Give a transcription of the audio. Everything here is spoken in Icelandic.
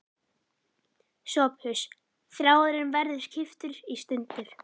SOPHUS: Þráðurinn verður klipptur í sundur.